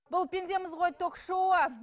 бұл пендеміз ғой ток шоуы